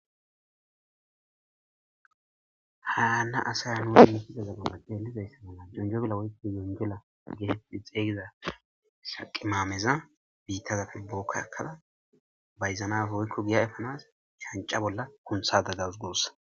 haana asaya nui mukiza zaggabapde helidaysse mala junjo bela woykko yonjela gehexi xeygida saqimaameza biittazafe bookkakada bayzanaf woykko giya efanas shanca bolla kuntha daggaus gussa